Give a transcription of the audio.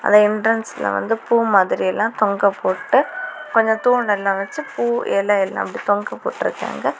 அந்த எண்ட்ரன்ஸ்ல வந்து பூ மாதிரி எல்லாம் தொங்க போட்டு கொஞ்சம் தூண் எல்லாம் வச்சி பூ எலை எல்லாம் அப்டி தொங்க போட்ருக்காங்க.